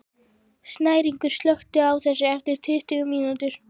Snæringur, slökktu á þessu eftir tuttugu mínútur.